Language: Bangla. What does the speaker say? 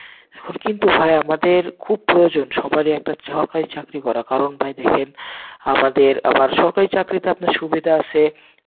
এখন কিন্তু ভাই আমাদের খুব প্রয়োজন, সবারই একটা সরকারি চাকরি করা, কারণ ভাই দেখেন, আমাদের, আমার, সরকারি চাকরিতে আপনার সুবিধা আসে,